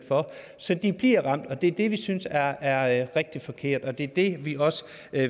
de bliver ramt og det er det vi synes er er rigtig forkert og det er det vi også